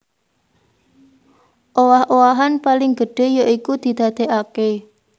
Owah owahan paling gedhé ya iku didadèkaké